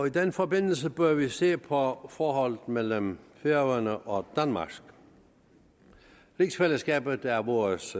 i den forbindelse bør vi se på forholdet mellem færøerne og danmark rigsfællesskabet er vores